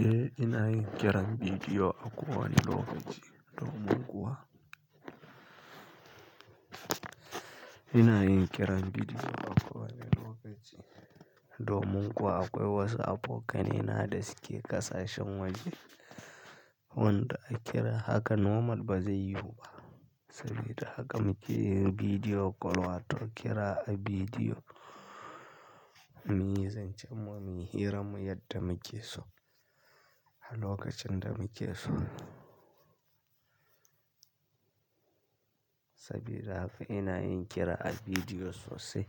Eh ina yin kira bidiyo a kowane lokaci domin kuwa, ina yin kira bidiyo a kowane lokaci domin kuwa akwai waso abokane na da suke ƙasashen waje, wanda a kira haka normal ba zai yiwu ba. Sabida haka muke yin bidiyo kol wato kira a bidiyo muyi zancen mu muyi hira mu yadda muke so a lokacin da muke so. Sabida haka ina yin kira a bidiyo sosai,